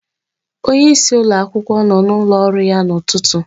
Onyeisi ụlọakwụkwọ nọ n'ụlọ ọrụ ya n'ụtụtụ.